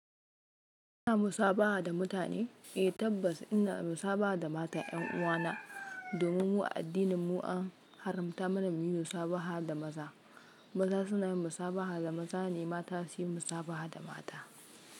Ina musabaha da mutane? Eh tabbas ina musabaha da matan 'yan uwana domin mu a addininmu an haramta mana muyi musabaha da maza. Maza suna yin musabaha da maza ne, mata su yi musabaha da mata.